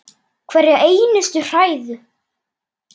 Hverja einustu hræðu!